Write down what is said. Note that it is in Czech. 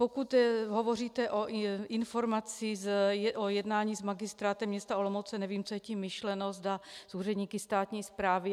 Pokud hovoříte o informaci o jednání s Magistrátem města Olomouce, nevím, co je tím myšleno, zda s úředníky státní správy.